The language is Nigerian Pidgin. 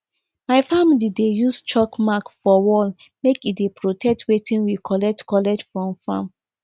my family dey use chalk mark for wall make e dey protect wetin we collect collect from farm